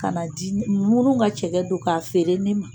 Ka na di munnu ka cɛkɛ do k'a feere ne ma.